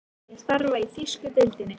Myndi ég starfa í þýsku deildinni?